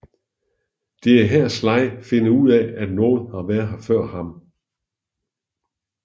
Det er her Sly finder ud af at nogen har været før ham